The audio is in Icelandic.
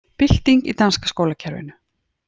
Bylting í danska skólakerfinu